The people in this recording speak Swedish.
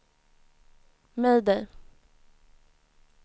mayday